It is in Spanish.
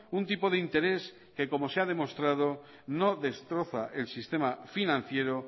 un tipo de interés que como se ha demostrado no destroza el sistema financiero